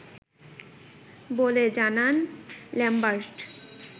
বলে জানান ল্যামবার্ট